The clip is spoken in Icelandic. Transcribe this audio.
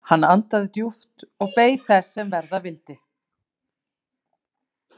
Hann andaði djúpt og beið þess sem verða vildi.